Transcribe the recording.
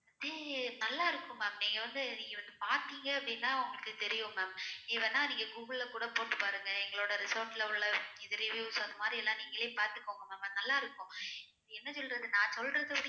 அப்டியே நல்லா இருக்கும் ma'am நீங்க வந்து நீங்க வந்து பாத்தேங்க அப்டின்னா உங்களுக்கு தெரியும் ma'am நீங்க வேணும்னா google ல கூட போட்டு பாருங்க எங்களோட resort ல உள்ள இந்த reviews அந்த மாதிரி எல்லா நீங்கலே பாத்துக்கோங்க ma'am அது நல்லா இருக்கும் என்ன சொல்லுறது நான் சொல்லுறது